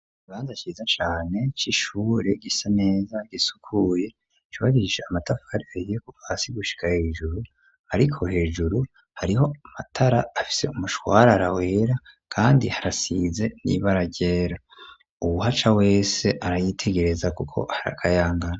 Ikibanza ciza cane c'ishure gisa neza gisukuye cubakishije amatafari ahiye kuva hasi gushika hejuru ariko hejuru hariho amatara afise umushwarara wera kandi harasize n'ibara ryera uwu haca wese arayitegereza kuko harakayangana.